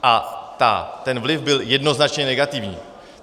A ten vliv byl jednoznačně negativní.